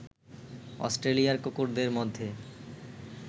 অস্ট্রেলিয়ায় কুকুরদের মধ্যে